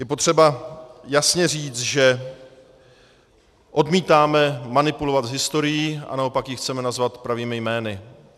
Je potřeba jasně říct, že odmítáme manipulovat s historií a naopak ji chceme nazvat pravými jmény.